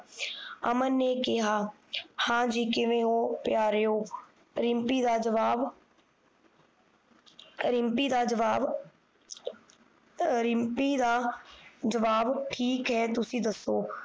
ਹਮ ਅਮਨ ਨੇ ਕਿਹਾ ਹਾਂ ਜੀ ਕਿਵੇਂ ਹੋ ਪਿਆਰਿਓ ਰਿਮਪੀ ਦਾ ਜਵਾਬ ਰਿਮਪੀ ਦਾ ਜਵਾਬ ਅਹ ਰਿਮਪੀ ਦਾ ਜਵਾਬ ਠੀਕ ਹੈ ਤੁਸੀਂ ਦਸੋ